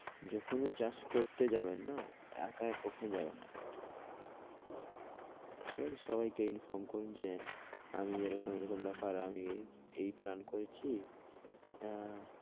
যখনই চাষ করতে যাবেন না একা কখনও যাবেন না ঠিক আছে, সবাই কে inform করুন যে আমি এইরকম, এইরকম ব্যাপার আমি এই plan করেছি আহ